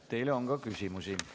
Teile on ka küsimusi.